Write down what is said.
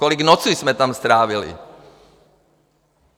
Kolik nocí jsme tam strávili!